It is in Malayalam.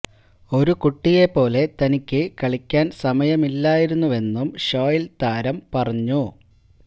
ഒരു കുട്ടിയെ പോലെ തനിക്ക് കളിക്കാൻ സമയമില്ലായിരുന്നുവെന്നും ഷോയില് താരം പറഞ്ഞു